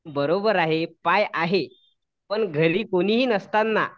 बरोबर आहे पाय आहे पण घरी कुणीही नसतांना